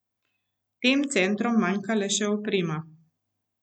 Tem centrom manjka le še oprema.